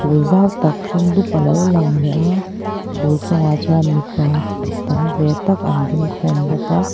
phûl zau tak hring dup a lo lang leh a phûl chungah chuan mipa tam ve tak an ding khâwm bawk a.